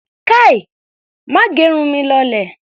Kai! Má gẹrun mi kó lọlẹ̀!